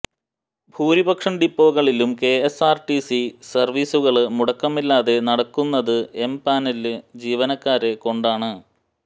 ഭൂരിപക്ഷം ഡിപ്പോകളിലും K S R T C സര്വീസുകള് മുടക്കമില്ലാതെ നടക്കുന്നത് എം പാനല് ജീവനക്കാരെ കൊണ്ടാണ്